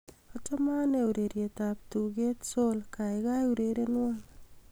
achome anee ureryet ab tuget sol gaigai urerernwon